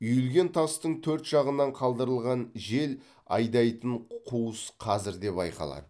үйілген тастың төрт жағынан қалдырылған жел айдайтын қуыс қазір де байқалады